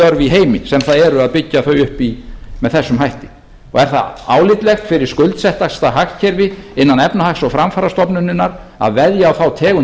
í heimi sem það er að byggja þau upp með þessum hætti er það álitlegt fyrir skuldsettasta hagkerfi innan efnahags og framfarastofnunarinnar að veðja á þá tegund